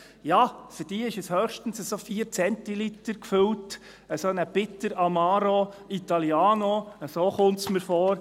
Ja, für diese ist es höchstens etwa 4 Zentiliter gefüllt, einen Bitter, Amaro Italiano, so kommt es mir vor.